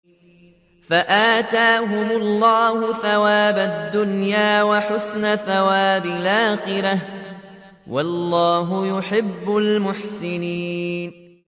فَآتَاهُمُ اللَّهُ ثَوَابَ الدُّنْيَا وَحُسْنَ ثَوَابِ الْآخِرَةِ ۗ وَاللَّهُ يُحِبُّ الْمُحْسِنِينَ